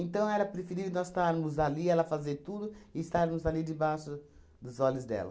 era preferível nós estarmos ali, ela fazer tudo e estarmos ali debaixo dos olhos dela.